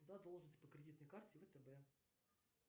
задолженность по кредитной карте втб